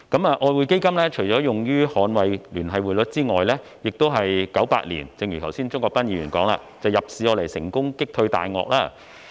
外匯基金除了用於捍衞聯繫匯率之外，亦一如剛才鍾國斌議員所說，在1998年用作入市成功擊退"大鱷"。